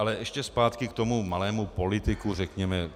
Ale ještě zpátky k tomu malému politiku, řekněme.